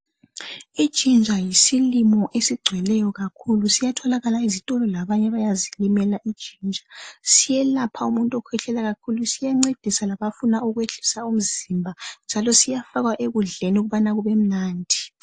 Ijinja yisilimo esigcweleyo kakhulu, siyatholalaka ezitolo, labanye bazilimela ijinja. Siyelapha umuntu okhwehlela kakhulu. Siyancedisa labafuna ukwehlisa umzimba njalo siyafakwa ekudleni ukuba kube mnandi.